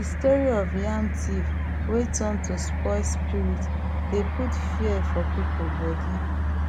dey story of yam thief wey turn to soil spirit dey put fear for people body